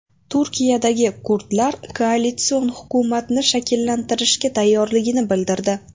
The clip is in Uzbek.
Turkiyadagi kurdlar koalitsion hukumatni shakllantirishga tayyorligini bildirdi.